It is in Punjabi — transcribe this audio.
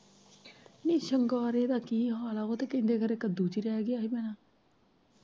ਨੀ ਸਿੰਗਾਰੇ ਦਾ ਹਾਲ ਐ ਓ ਤਾਂ ਕਹਿੰਦੇ ਖਰੇ ਕੱਦੂ ਚ ਰਹਿ ਗਿਆ ਹੀ ਭੈਣਾਂ।